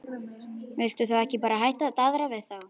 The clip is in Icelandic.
Viltu þá ekki bara hætta að daðra við þá?